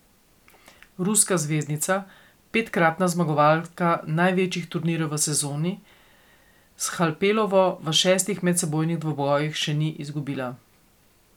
Ruska zvezdnica, petkratna zmagovalka največjih turnirjev v sezoni, s Halepovo v šestih medsebojnih dvobojih še ni izgubila.